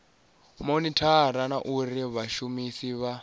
monithara na uri vhashumisi vha